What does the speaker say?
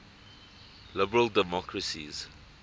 liberal democracies